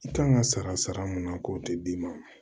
I kan ka sara sara mun na k'o tɛ d'i ma